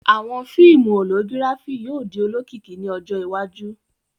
Awọn fiimu Hologirafi yóò di olokiki ni ọjọ iwaju